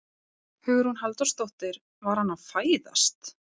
Hugrún Halldórsdóttir: Var hann að fæðast?